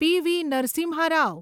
PV. Narasimha Rao